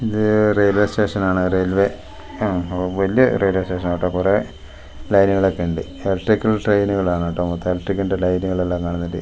ഇത് റെയിൽവേ സ്റ്റേഷനാണ് റെയിൽവേ ഉം വല്യ റെയിവേ സ്റ്റേഷനാട്ടോ കുറേ ലൈനുകളൊക്കെയിണ്ട് ഇലക്ട്രിക്കൽ ട്രയിനുകളാണ് കേട്ടോ മൊത്തം ഇലക്ട്രിക്കിന്റെ ലൈനുകളെല്ലാം കാണുന്നില്ലേ.